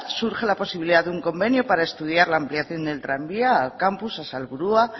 surge la posibilidad de un convenio para estudiar la ampliación del tranvía al campus a salburua